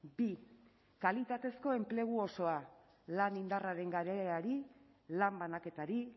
bi kalitatezko enplegu osoa lan indarraren galerari lan banaketari